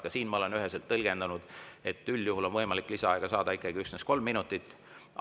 Ka siin ma olen üheselt tõlgendanud, et üldjuhul on võimalik lisaaega saada ikkagi üksnes kolm minutit.